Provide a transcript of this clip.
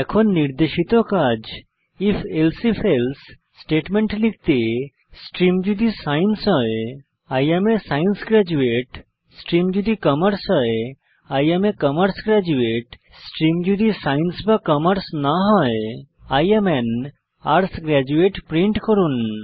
এখন নির্দেশিত কাজ হল if elsif এলসে স্টেটমেন্ট লিখতে স্ট্রিম যদি সায়েন্স হয় I am a science graduate stream যদি কমার্স হয় I am a commerce graduate stream যদি সায়েন্স বা কমার্স না হয় I am an arts graduate print করুন